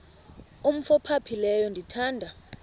umf ophaphileyo ndithanda